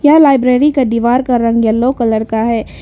यह लाइब्रेरी का दीवार का रंग येलो कलर का है।